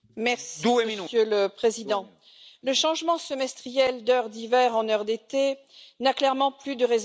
Monsieur le Président, le changement semestriel d'heure d'hiver en heure d'été n'a clairement plus de raison d'être.